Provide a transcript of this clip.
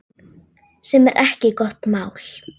Sem er ekki gott mál.